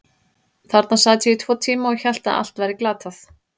Þarna sat ég í tvo tíma og hélt að allt væri glatað.